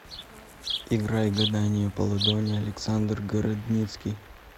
играй гадание по ладони александр городницкий